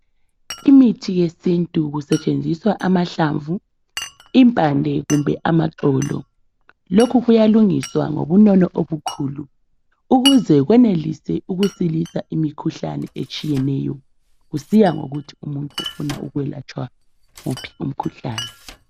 Imithi yesintu kusetshenzwiswa amahlamvu, impande kumbe amaxolo lokhu kuyalungiswa ngobunono obukhulu ukuze kwenelise ukusilisa imikhuhlane etshiyeneyo kusiya ngokuthi umuntu ufuna ukwelatshwa wuphi umkhuhlane.